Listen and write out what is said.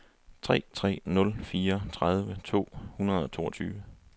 tre tre nul fire tredive to hundrede og toogtyve